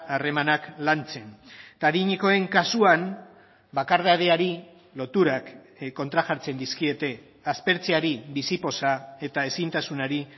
harremanak lantzen eta adinekoen kasuan bakardadeari loturak kontrajartzen dizkiete aspertzeari bizipoza eta ezintasunari